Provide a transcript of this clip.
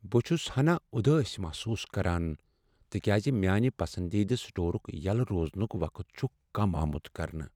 بہٕ چھس ہناہ اُداس محسوس کران تکیازِ میانِہ پسندیدٕ سٹورک یلہٕ روزنک وقت چھ کم آمت کرنہٕ۔